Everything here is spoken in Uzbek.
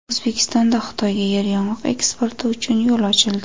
O‘zbekistonda Xitoyga yeryong‘oq eksporti uchun yo‘l ochildi.